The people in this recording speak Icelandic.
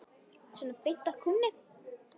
Svona beint af kúnni.